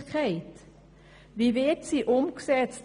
Wie wird sie umgesetzt?